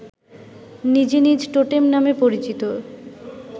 নিজ নিজ টোটেম নামে পরিচিত